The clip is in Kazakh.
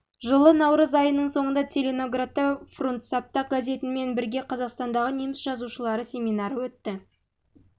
жылы наурыз айының соңында целиноградта фрундсапта газетімен бірге қазақстандағы неміс жазушылары семинары өтті